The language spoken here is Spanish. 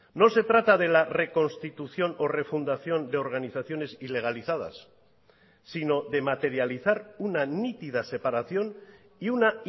no se trata de la reconstitución o refundación de organizaciones ilegalizadas sino de materializar una nítida separación y una